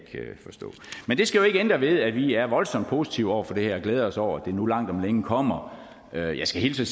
skal jo ikke ændre ved at vi er voldsomt positive over for det her og glæder os over at det nu langt om længe kommer jeg jeg skal hilse